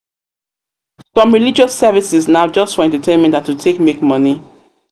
some religious services na just for entertainment and to take make moni